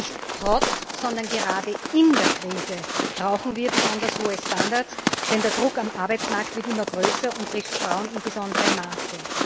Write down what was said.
Nicht trotz, sondern gerade in der Krise brauchen wir besonders hohe Standards, denn der Druck am Arbeitsmarkt wird immer größer und trifft Frauen in besonderem Maße.